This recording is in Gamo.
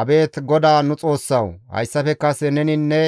«Abeet GODAA nu Xoossawu! Hayssafe kase neni ne